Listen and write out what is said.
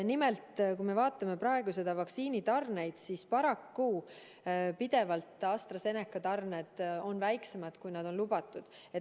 Nimelt, kui me vaatame praegu vaktsiinitarneid, siis paraku AstraZeneca tarned on pidevalt väiksemad, kui on lubatud.